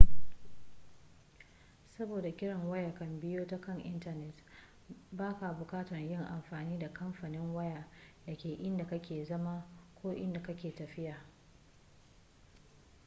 saboda kiran waya kan biyo ta kan intanet ba ka bukatar yin amfani da kamfanin waya da ke inda ka ke zama ko inda ka yi tafiya